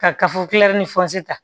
Ka kafo ni fɔnsi ta